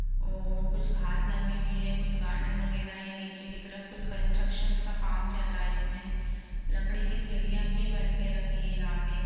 औ कुछ घास लगी हुई है कुछ गार्डन वगैरह है। नीचे की तरफ कुछ कन्स्ट्रक्शंस का काम चल रहा है इसमें लकड़ी की सीढियां भी बनके रखी हैं यहाँ पे --